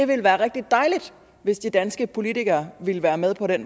det være rigtig dejligt hvis de danske politikere ville være med på at